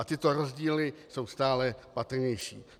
A tyto rozdíly jsou stále patrnější.